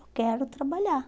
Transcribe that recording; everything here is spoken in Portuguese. Eu quero trabalhar.